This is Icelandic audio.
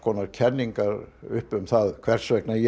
kenningar um það hvers vegna ég